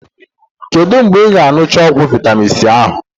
Kedu mgbe ị ga-añụcha ọgwụ vitamin c ahụ?